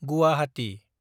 Guwahati